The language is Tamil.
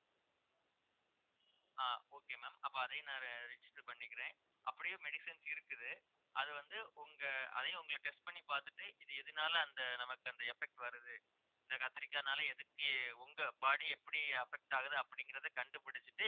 ஆஹ் okay ma'am அப்ப அதே நேரம் register பண்ணிக்கிறேன் அப்படியே medicines இருக்குது அது வந்து உங்க அதையும் உங்களை test பண்ணி பாத்துட்டு இது எதுனால அந்த நமக்கு அந்த effect வருது இந்த கத்திரிக்காய்னால எதுக்கு உங்க body எப்படி affect ஆகுது அப்படிங்கிறதை கண்டுபிடிச்சுட்டு